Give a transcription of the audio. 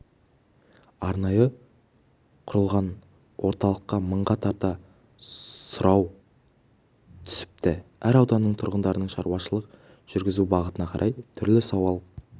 арнайы құрылған орталыққа мыңға тарта сұрау түсіпті әр ауданнан тұрғындардың шаруашылық жүргізу бағытына қарай түрлі сауал